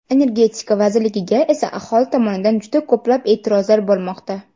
Energetika vazirligiga esa aholi tomonidan juda ko‘plab e’tirozlar bo‘lmoqda.